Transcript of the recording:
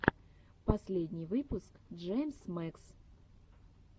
последний выпуск джеймс мэкс